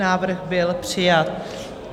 Návrh byl přijat.